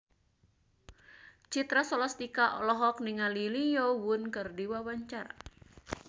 Citra Scholastika olohok ningali Lee Yo Won keur diwawancara